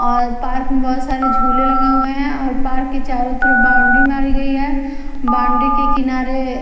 और पार्क में बह़ोत सारे झूले लगे हुए हैं और पार्क के चारों तरफ बाउंड्री मारी गई है बाउंड्री के किनारे--